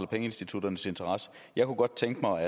pengeinstitutternes interesse jeg kunne godt tænke mig